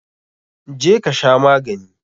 Je ka sha magani!